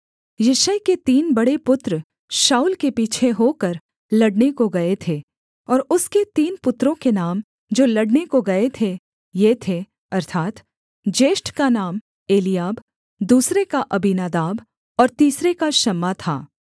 यिशै के तीन बड़े पुत्र शाऊल के पीछे होकर लड़ने को गए थे और उसके तीन पुत्रों के नाम जो लड़ने को गए थे ये थे अर्थात् ज्येष्ठ का नाम एलीआब दूसरे का अबीनादाब और तीसरे का शम्मा था